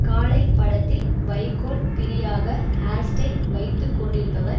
காளை படத்தில் வைக்கோல் பிரியாக ஹேர் ஸ்டைல் வைத்து கொண்டிருப்பவர்